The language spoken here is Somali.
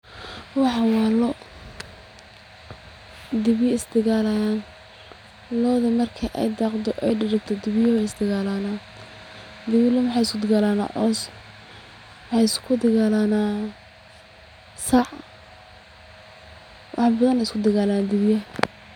Waxan waa loo, dibiya is dagalayan, looda marki ay daqdo oy dheregto dibiyaha way istagaalana, dibiya loo waxay isku dagaalana cows, maxay isku dagaalana sac, wax badan ayay isku dagaalana dibiyaha